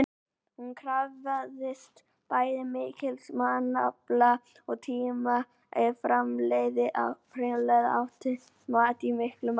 Hún krafðist bæði mikils mannafla og tíma ef framleiða átti mat í miklu magni.